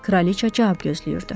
Kraliça cavab gözləyirdi.